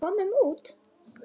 Komum út.